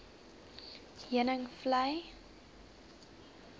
heuningvlei